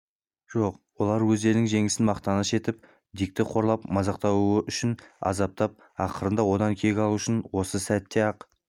жоқ олар өздерінің жеңісін мақтаныш етіп дикті қорлап мазақтау үшін азаптап ақырында одан кек алу үшін осы сәтте-ақ